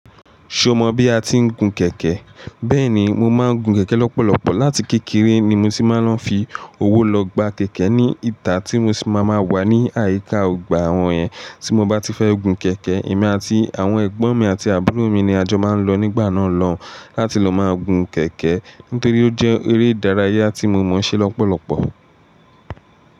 Ṣé o mọ bí a ti ń gun kẹ̀kẹ́? Bẹ́ẹ̀ni, mo máa ń gun kẹ̀kẹ́ lọ́pọ̀lọpọ̀. Láti kékeré ni mo ti máa ń lọ fi owó lọ gba kẹ̀kẹ́ ní ìta tí mo sì máa ma wà ní àyíká ọgbà àwọn yẹn. Tí mo bá ti fẹ́ gun kẹ̀kẹ́, èmi àti àwọn ẹ̀gbọ́n mi àti àbúrò mi ni a jọ máa ń lọ nígbà náà lọ láti lọ máa gun kẹ̀kẹ́. Nítorí ó jẹ́ eré ìdárayá tí mo mọ̀ ṣe lọ́pọ̀lọpọ̀.